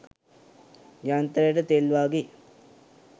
යන්ත්‍රයට තෙල් වාගේ